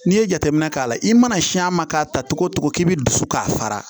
N'i ye jateminɛ k'a la i mana si a ma k'a ta togo togo k'i bisu k'a fara